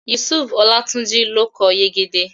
Yusufu Olátúnjí ló kọ Yegede